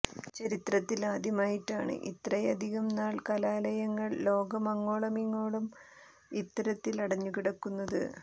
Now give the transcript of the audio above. ചരിത്രത്തിൽ ആദ്യമായിട്ടാണ് ഇത്രയധികം നാൾ കലാലയങ്ങൾ ലോകമങ്ങോളമിങ്ങോളം ഇത്തരത്തിൽ അടഞ്ഞു കിടക്കുന്നത്